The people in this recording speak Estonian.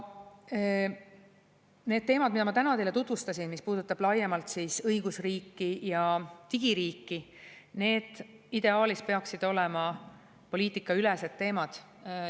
Need teemad, mida ma täna teile tutvustasin, mis puudutab laiemalt õigusriiki ja digiriiki, ideaalis peaksid olema poliitikaülesed teemad.